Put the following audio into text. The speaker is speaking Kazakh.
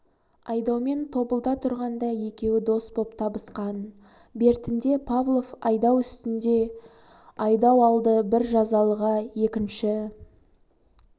айдаумен тобылда тұрғанда екеуі дос боп табысқан бертінде павлов айдау үстіне айдау алды бір жазалыға екінші